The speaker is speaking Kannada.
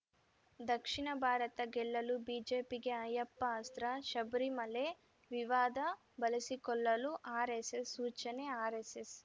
ದಕ್ಷಿಣ ಭಾರತ ಗೆಲ್ಲಲು ಬಿಜೆಪಿಗೆ ಅಯ್ಯಪ್ಪ ಅಸ್ತ್ರ ಶಬರಿಮಲೆ ವಿವಾದ ಬಳಸಿಕೊಳ್ಳಲು ಆರ್‌ಎಸ್‌ಎಸ್‌ ಸೂಚನೆ ಆರ್‌ಎಸ್‌ಎಸ್‌